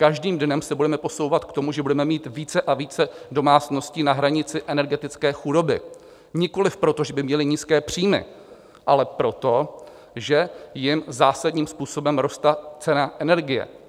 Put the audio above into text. Každým dnem se budeme posouvat k tomu, že budeme mít více a více domácností na hranici energetické chudoby nikoliv proto, že by měly nízké příjmy, ale proto, že jim zásadním způsobem roste cena energie.